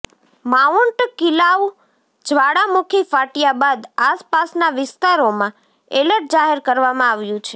mount Kilauea જ્વાળામુખી ફાટ્યા બાદ આસપાસના વિસ્તારોમાં એલર્ટ જાહેર કરવામાં આવ્યું છે